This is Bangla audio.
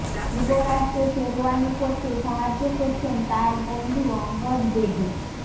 যুবরাজকে শেরওয়ানি পরতে সাহায্য করছেন তাঁর বন্ধু অঙ্গদ বেদী